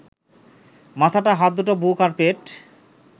মাথাটা, হাত দুটো, বুক, আর পেট